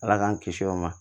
Ala k'an kisi o ma